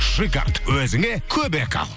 шиккард өзіңе көмек ал